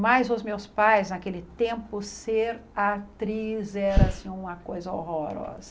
Mas os meus pais, naquele tempo, ser atriz era assim uma coisa horrorosa.